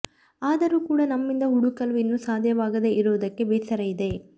ಆದರೂ ಕೂಡಾ ನಮ್ಮಿಂದ ಹುಡುಕಲು ಇನ್ನೂ ಸಾಧ್ಯವಾಗದೇ ಇರುವುದಕ್ಕೆ ಬೇಸರ ಇದೆ